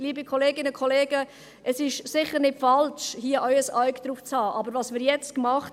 Liebe Kolleginnen und Kollegen, es ist sicher nicht falsch, hier auch ein Auge darauf zu halten.